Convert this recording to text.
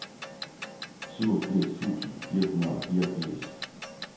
syvogfirs tusind fire hundrede og fireogfirs